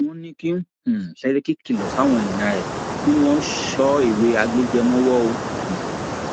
wọn ní kí um sẹríkì kìlọ fáwọn èèyàn ẹ kí wọn so ewé agbéjẹẹ mọwọ um